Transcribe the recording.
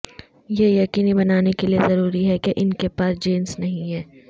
یہ یقینی بنانے کے لئے ضروری ہے کہ ان کے پاس جینس نہیں ہے